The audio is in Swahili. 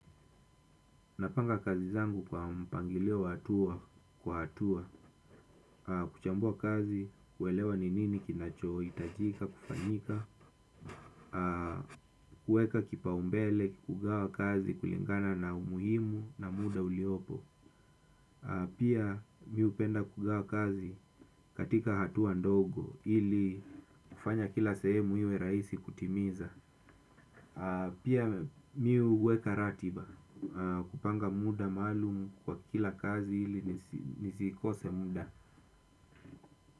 Napanga kazi zangu kwa mpangilio wa hatua kwa hatua, kuchambua kazi, kuelewa ni nini kinachoo, hitajika, kufanyika, kueka kipaumbele, kugawa kazi kulingana na umuhimu na muda uliopo. Pia mi hupenda kugawa kazi katika hatua ndogo ili kufanya kila sehemu iwe rahisi kutimiza. Pia mi huweka ratiba kupanga muda maalumu kwa kila kazi ili nisikose muda.